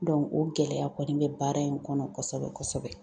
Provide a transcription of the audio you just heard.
o gɛlɛya kɔni bɛ baara in kɔnɔ kosɛbɛ kosɛbɛ.